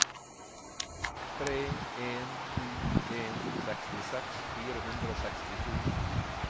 tre en sju en sekstiseks fire hundre og sekstisju